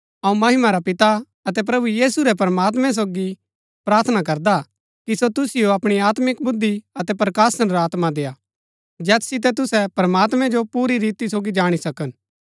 अऊँ महिमा रा पिता अतै प्रभु यीशु रै प्रमात्मैं सोगी प्रार्थना करदा हा कि सो तुसिओ अपणी आत्मिक बुद्धि अतै प्रकाशन रा आत्मा देय्आ जैत सितै तुसै प्रमात्मैं जो पुरी रीति सोगी जाणी सकन